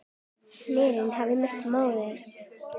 Hinir hafa misst móðinn.